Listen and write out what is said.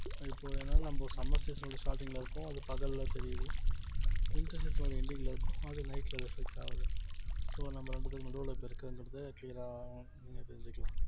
இப்போ ஏன்னா நம்ம summer season ல starting ல இருக்கோம் அது பகல்ல தெரியுது winter season ஓட ending ல இருக்கும் அது night ல reflect ஆகுது so நம்ம ரெண்டுத்துக்கும் நடுவுல இப்ப இருக்குறங்கறத clear ஆ நீங்க தெரிஞ்சுக்கலாம்